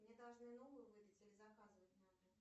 мне должны новую выдать или заказывать надо